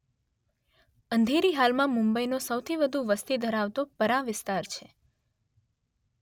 અંધેરી હાલમાં મુંબઈનો સૌથી વધુ વસ્તી ધરાવતો પરાં વિસ્તાર છે.